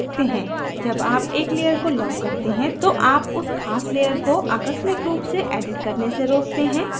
जब आप एक layer को lock करते हैं तो आप उस खास layer को आकस्मिक रूप से edits करने से रोकते हैं